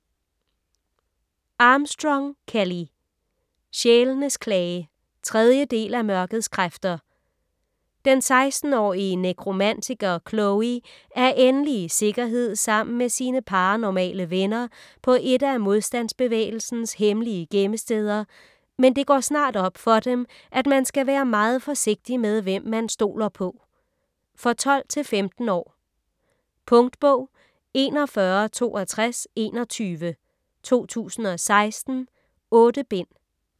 Armstrong, Kelley: Sjælenes klage 3. del af Mørkets kræfter. Den 16-årige nekromantiker Chloe er endelig i sikkerhed sammen med sine paranormale venner på et af modstandsbevægelsens hemmelige gemmesteder, men det går snart op for dem, at man skal være meget forsigtig med, hvem man stoler på. For 12-15 år. Punktbog 416221 2016. 8 bind.